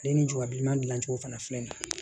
Ale ni jɔrɔ bilenman dilan cogo fana filɛ nin ye